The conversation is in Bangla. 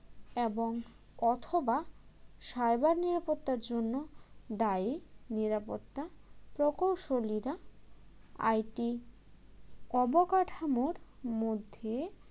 এবং অথবা cyber নিরাপত্তার জন্য দায়ী নিরাপত্তা প্রকৌশলীরা IT অবকাঠামোর মধ্যে